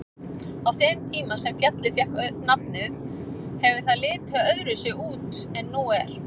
Á þeim tíma sem fjallið fékk nafnið hefur það litið öðruvísi út en nú er.